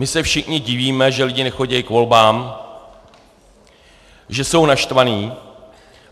My se všichni divíme, že lidi nechodí k volbám, že jsou naštvaní.